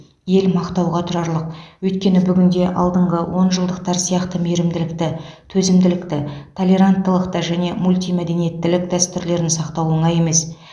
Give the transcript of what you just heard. ел мақтауға тұрарлық өйткені бүгінде алдыңғы онжылдықтар сияқты мейірімділікті төзімділікті толеранттылықты және мультимәдениеттілік дәстүрлерін сақтау оңай емес